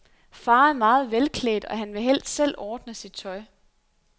Far er meget velklædt, og han vil helst selv ordne sit tøj.